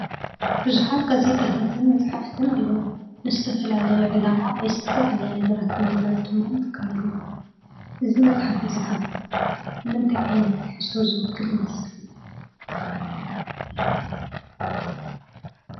ቡዙሓት ጋዜጣታትን መፅሓፍትን ኣለዉ። ንዝተፈላለዩ ዕላማ ወይ ዝተፈላለዩ ነገራት ንምግላፅ ድማ ንጥቀመሉ። እዚ መፅሓፍ እዚ ከዓ ንምንታይ ዓይነት ትሕዝቶ ዝዉክል ይመስል?